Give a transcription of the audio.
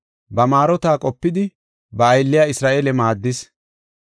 Ba maarota qopidi, Ba aylliya Isra7eele maaddis.